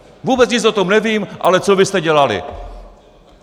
Vůbec nic o tom nevím, ale co vy jste dělali."